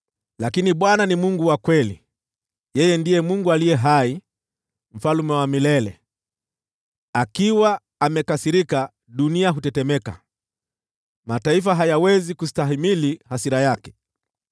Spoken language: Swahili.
Lakini Bwana ni Mungu wa kweli, yeye ndiye Mungu aliye hai, Mfalme wa milele. Anapokasirika, dunia hutetemeka, mataifa hayawezi kustahimili hasira yake.